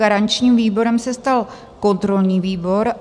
Garančním výborem se stal kontrolní výbor.